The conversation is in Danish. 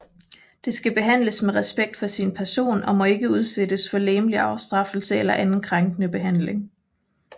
Det skal behandles med respekt for sin person og må ikke udsættes for legemlig afstraffelse eller anden krænkende behandling